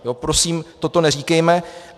Prosím, toto neříkejme!